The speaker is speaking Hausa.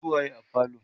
su waye a falo?